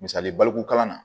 Misali baliku kalan na